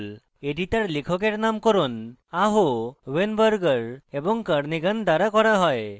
এটি তার লেখকের নামকরণ aho weinberger এবং kernighan দ্বারা করা হয়